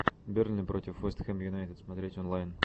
бернли против вест хэм юнайтед смотреть онлайн